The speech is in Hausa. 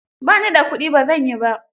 Ba ni da kuɗi, ba zan yi ba.